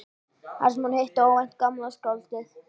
Þar sem hún hittir óvænt gamla skáldið.